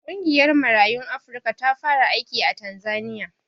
Ƙungiyar Marayun Afrika ta fara aiki a Tanzaniya.